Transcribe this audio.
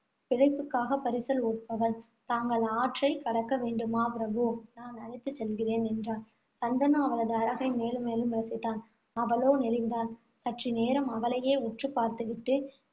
பிழைப்புக்காக பரிசல் ஓட்டுபவள். தாங்கள் ஆற்றை கடக்க வேண்டுமா பிரபு நான் அழைத்துச் செல்கிறேன், என்றாள். சந்தனு அவளது அழகை மேலும் மேலும் ரசித்தான். அவளோ நெளிந்தாள். சற்றுநேரம் அவளையே உற்று பார்த்து விட்டு,